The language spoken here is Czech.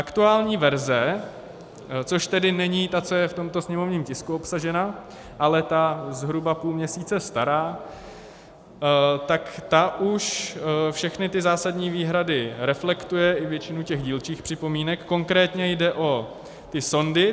Aktuální verze, což tedy není ta, co je v tomto sněmovním tisku obsažena, ale ta zhruba půl měsíce stará, tak ta už všechny ty zásadní výhrady reflektuje, i většinu těch dílčích připomínek, konkrétně jde o ty sondy.